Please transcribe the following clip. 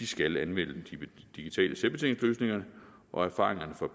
skal anvende digitale selvbetjeningsløsninger og erfaringerne fra